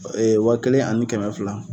Ee waa kelen ani kɛmɛ fila